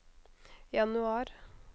januar